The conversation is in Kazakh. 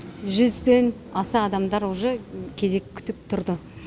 жүзден астам адамдар уже кезек күтіп тұрды